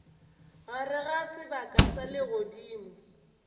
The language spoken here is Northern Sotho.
gare ga sebaka sa legodimo